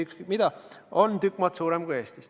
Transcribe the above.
Ükskõik mida me vaatame, näitajad on tükk maad suuremad kui Eestis.